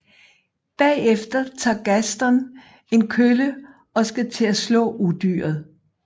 Bagefter tager Gaston en kølle og skal til at slå Udyret